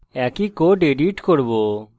একই code edit করব